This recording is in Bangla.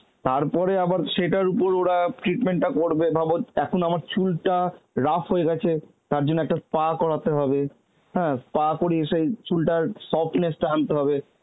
তারপরে আবার সেটার উপর ওরা treatment টা করবে ভাবো, এখন আমার চুলটা ruff হয়ে গেছে তার জন্য একটা SPA করাতে হবে হ্যাঁ SPA করিয়ে সেই চুলটার softness টা আনতে হবে